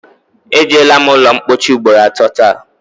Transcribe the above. E jeela m ụlọmpochi ugboro atọ taa